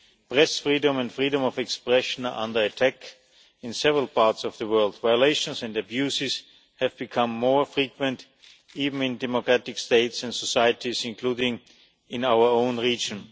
Press freedom and freedom of expression are under attack. In several parts of the world violations and abuses have become more frequent, even in democratic states and societies, including in our own region.